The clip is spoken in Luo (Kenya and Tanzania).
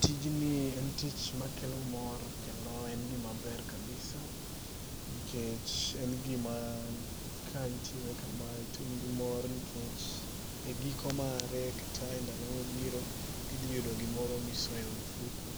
Tijni en tich makelo mor kendo en tich maber kabisa. nikech en gima ka itime kama to in gimor nikech e giko mare kata e ndalo mabiro kinde mabiro Tijni en tich makelo mor